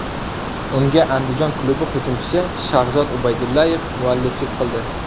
Unga Andijon klubi hujumchisi Shahzod Ubaydullayev mualliflik qildi.